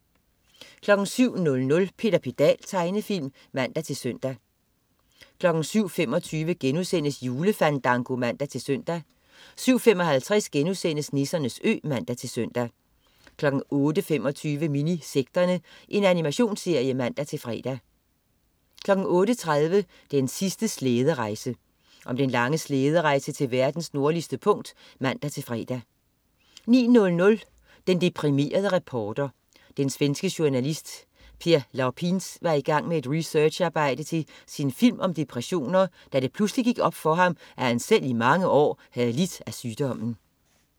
07.00 Peter Pedal. Tegnefilm (man-søn) 07.25 Julefandango* (man-søn) 07.55 Nissernes Ø* (man-søn) 08.25 Minisekterne. Animationsserie (man-fre) 08.30 Den sidste slæderejse. Om den lange slæderejse til verdens nordligste punkt (man-fre) 09.00 Den deprimerede reporter. Den svenske journalist Per Lapins var i gang med et researcharbejde til sin film om depressioner, da det pludselig gik op for ham, at han selv i mange år havde lidt af sygdommen